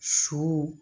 Su